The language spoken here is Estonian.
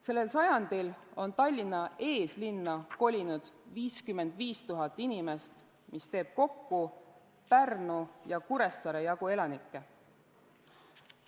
Sellel sajandil on Tallinna eeslinna kolinud 55 000 inimest, mis teeb kokku Pärnu ja Kuressaare jagu elanikke.